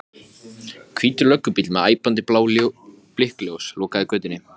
Hvítur löggubíll með æpandi blá blikkljós lokaði götunni.